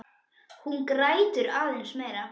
Hún grætur aðeins meira.